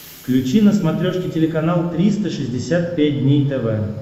включи на смотрешке телеканал триста шестьдесят пять дней тв